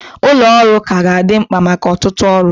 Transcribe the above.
Ụlọ ọrụ ka ga-adị mkpa maka ọtụtụ ọrụ